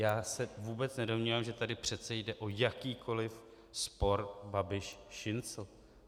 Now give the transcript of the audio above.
Já se vůbec nedomnívám, že tady přece jde o jakýkoliv spor Babiš-Šincl.